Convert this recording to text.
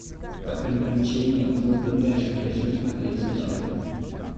приключения плуто нэша хочу смотреть сейчас